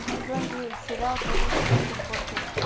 сезон девять сериал больница никербокер